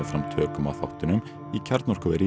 tökum á þáttunum í kjarnorkuveri í